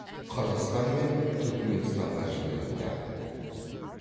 қырғызстан мен түркіменстанға жіберілді